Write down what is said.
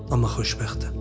Amma xoşbəxtəm.